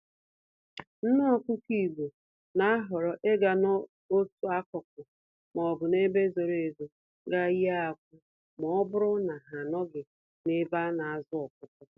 Nné Ọkụkọ Igbo n'ahọrọ ịga n'otu akụkụ m'obu n'ebe zoro ezo gaa yie akwa, mọbụrụ na ha anọghị n'ebe anazụ ọkụkọ